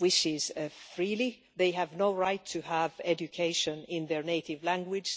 wishes freely and they have no right to education in their native language.